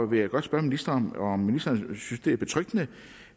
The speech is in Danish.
vil jeg godt spørge ministeren om ministeren synes det er betryggende